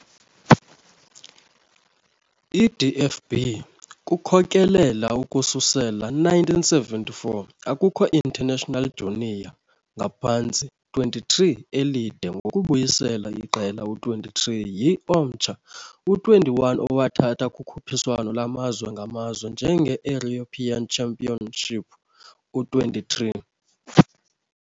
I DFB kukhokelela ukususela 1974 akukho internationals junior "Ngaphantsi 23" elide, ngokubuyisela iqela "U-23" yi omtsha "U-21", owathatha kukhuphiswano lwamazwe ngamazwe njenge "European Championship U-23".